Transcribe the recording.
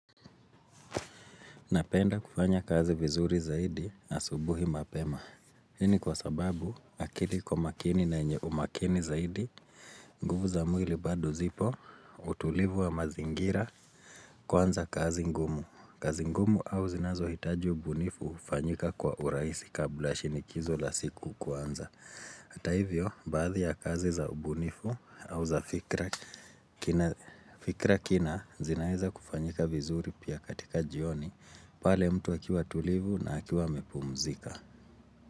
Napenda kufanya kazi vizuri zaidi na asubuhi mapema. Hii ni kwa sababu akili iko makini na yenye umakini zaidi, nguvu za mwili bado zipo, utulivu wa mazingira kwanza kazi ngumu. Kazi ngumu au zinazo hitaji ubunifu hufanyika kwa urahisi kabla shinikizo la siku kuanza. Hata hivyo, baadhi ya kazi za ubunifu au za fikra kina zinaeza kufanyika vizuri pia katika jioni pale mtu akiwa tulivu na akiwa amepumzika.